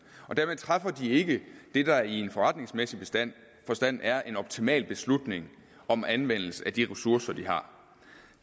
og dermed træffer de ikke det der i en forretningsmæssig forstand forstand er en optimal beslutning om anvendelse af de ressourcer de har